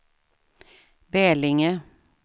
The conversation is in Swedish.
Bälinge